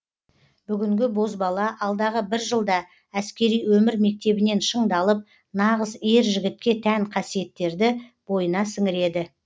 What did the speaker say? бүгінгі бозбала алдағы бір жылда әскери өмір мектебінен шыңдалып нағыз ер жігітке тән қасиеттерді бойына сіңіреді